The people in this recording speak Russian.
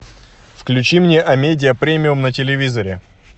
включи мне амедиа премиум на телевизоре